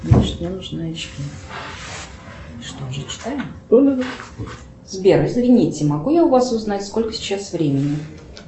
сбер извините могу я у вас узнать сколько сейчас времени